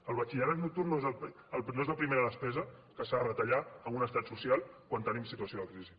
el batxillerat nocturn no és la primera despesa que s’ha de retallar en un estat social quan tenim situació de crisi